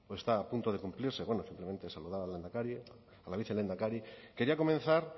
zurea da hitza mikrofonoa itzalita hitz egin du o está a punto de cumplirse bueno simplemente saludar al lehendakari a la vicelehendakari quería comenzar